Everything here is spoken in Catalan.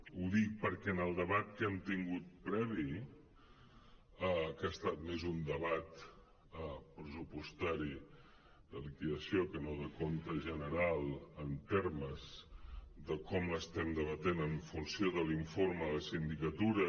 ho dic perquè en el debat que hem tingut previ que ha estat més un debat pressupostari de liquidació que no de compte general en ter·mes de com l’estem debatent en funció de l’informe de sindicatura